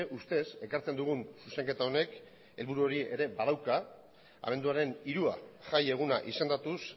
ustez ekartzen dugun zuzenketa honek helburu hori ere badauka abenduaren hirua jaieguna izendatuz